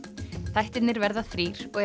þættirnir verða þrír og